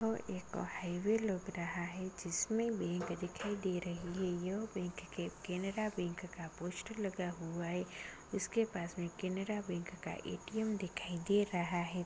और एक हाईवे लग रहा है जिसमें बैंक दिखाई दे रही है यह बैंक के-केनरा बैंक का पोस्टर लगा हुआ है इसके पास में केनरा बैंक का ए.टी.एम दिखाई दे रहा है।